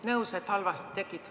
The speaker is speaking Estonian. Nõus, et halvasti tegid.